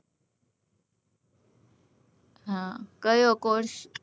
હા કયો course